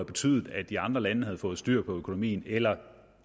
betydet at de andre lande havde fået styr på økonomien eller